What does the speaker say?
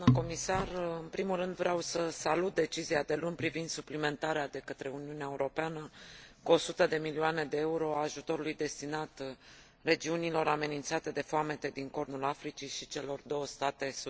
În primul rând, vreau să salut decizia de luni privind suplimentarea de către Uniunea Europeană cu 100 de milioane EUR a ajutorului destinat regiunilor amenințate de foamete din Cornul Africii și celor două state sudaneze.